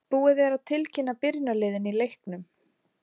Búið er að tilkynna byrjunarliðin í leiknum.